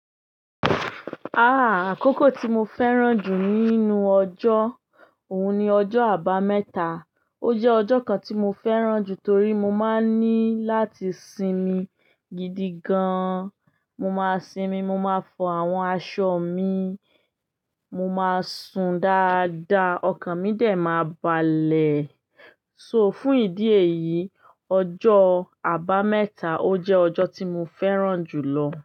Ah! Àkókò tí mo fẹ́ràn jù nínú ọjọ́, òun ni ọjọ́ Àbámẹ́ta. O jẹ́ ọjọ́ kan tí mo fẹ́ràn jù torí mo máa ní láti sinmi gidi gan. Mo máa sinmi, mo máa fọ àwọn aṣọ mi, mo máa sùn dáadáa, ọkàn mi dè máa balẹ̀. So fún ìdí èyí, ọjọ́ Àbámẹ́ta o jẹ́ ọjọ́ tí mo fẹ́ràn jù lọ.